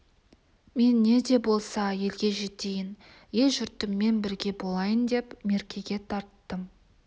мен не де болса елге жетейін ел-жұртыммен бірге болайын деп меркеге тарттым